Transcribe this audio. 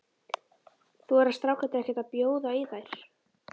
Þora strákarnir ekkert að bjóða í þær?